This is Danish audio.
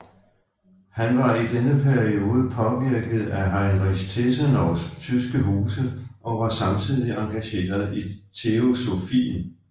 Han var i denne periode påvirket af Heinrich Tessenows tyske huse og var samtidig engageret i teosofien